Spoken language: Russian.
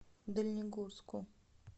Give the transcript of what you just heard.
дальнегорску